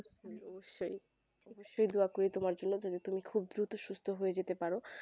নিশ্চয় তুমার দোয়াকরি তুমার জন্য যেন তুমি খুব দূত সুস্ত হয়ে যেতে পারো